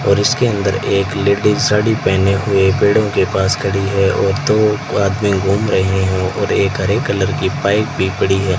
और इसके अंदर एक लेडी साड़ी पहने हुए पेड़ों के पास खड़ी है और दो आदमी घूम रहे हैं एक हरे कलर की पाइप भी पड़ी है।